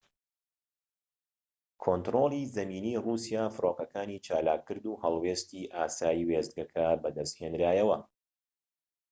کۆنتڕۆڵی زەمینی ڕووسیا فڕۆکەکانی چالاک کرد و هەڵوێستی ئاسایی وێستگەکە بەدەست هێنرایەوە